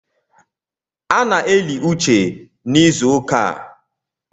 A na-eli uche n’ịzụụka a